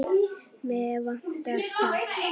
Mig vantar salt.